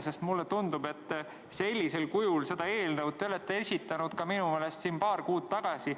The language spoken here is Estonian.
Sest mulle tundub, et sellisel kujul olete te seda eelnõu esitanud minu meelest ka siin paar kuud tagasi.